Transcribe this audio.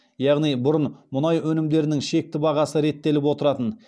яғни бұрын мұнай өнімдерінің шекті бағасы реттеліп отыратын